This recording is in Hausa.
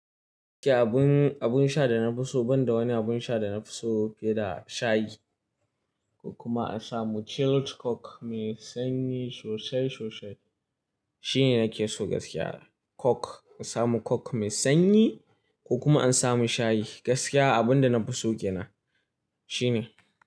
Gaskiya abun, abun sha da na fi so banda wani abun sha da na fi so fiye da shayi ko kuma an samu chilled coke mai sanyi sosai sosai shine nake so gaskiya. Coke, an samu coke mai sanyi ko kuma an samun shayi. Gaskiya abun da na fi so ƙenan shine.